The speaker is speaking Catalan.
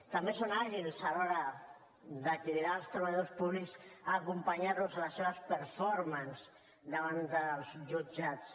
també són àgils a l’hora de cridar els treballadors públics a acompanyar los a les seves performances davant dels jutjats